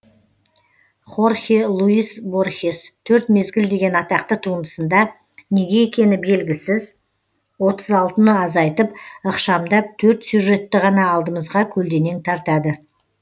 хорхе луис борхес төрт мезгіл деген атақты туындысында неге екені белгісіз отыз алтыны азайтып ықшамдап төрт сюжетті ғана алдымызға көлденең тартады